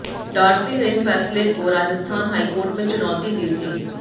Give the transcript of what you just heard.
Dorsey ने इस फैसले को राजस्थान हाईकोर्ट में चुनौती दी थी